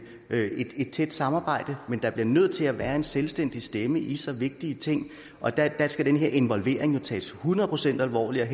et tæt samarbejde men der bliver nødt til at være en selvstændig stemme i så vigtige ting og der skal den her involvering tages hundrede procent alvorligt